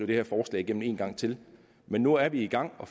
det her forslag igennem en gang til men nu er vi i gang